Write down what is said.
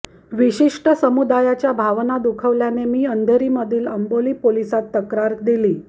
विशिष्ट समुदायाच्या भावना दुखावल्याने मी अंधेरीमधील अंबोली पोलिसांत तक्रार दिली